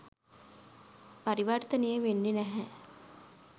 පරිවර්තනය වෙන්නේ නැහැ.